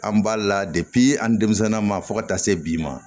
An b'a la an denmisɛnninnaa ma fo ka taa se bi ma